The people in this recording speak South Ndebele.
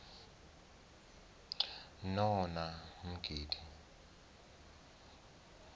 nonamgidi